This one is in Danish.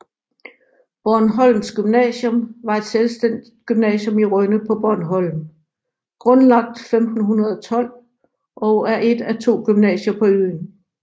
Bornholms Gymnasium var et selvstændigt gymnasium i Rønne på Bornholm grundlagt 1512 og er et af to gymnasier på øen